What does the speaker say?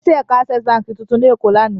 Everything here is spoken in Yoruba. Wọ́n ṣí ẹ̀ka Access Báńkì tuntun ní Èkó lánàá.